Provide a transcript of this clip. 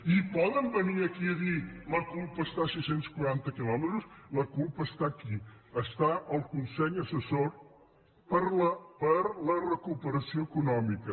i poden venir aquí i dir la culpa està a sis cents i quaranta quilòmetres la culpa és aquí és en el consell assessor per a la reactivació econòmica